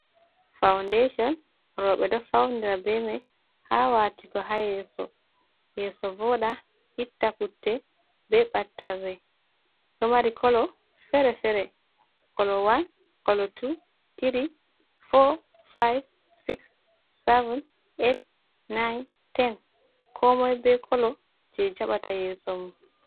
Faundecon, Roɓe ɗo Faunira bemai ha Watigo ha Yeso, Yeso Voɗa itta Putte, be Ɓattarre, ɗo Mari Kolo Fere-Fere, Kolo wan, Kolo Tu, Tiri, For, Fayif, Sis, Sevin, Ett, Nayin, Ten. Komoi be Kolo je Jaɓata Yeso mum.